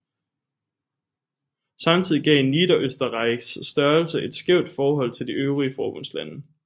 Samtidig gav Niederösterreichs størrelse et skævt forhold til de øvrige forbundslande